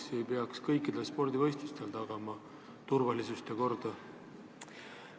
Miks ei peaks kõikidel spordivõistlustel tagama turvalisust ja korda?